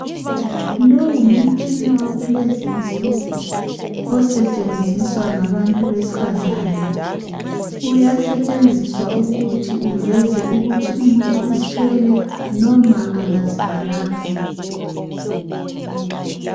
Lowu ngumtshina wakulezi insuku osetshenziswa ngabantu besifazane ukuthi umuntu uzithwele noma akazithwalanga.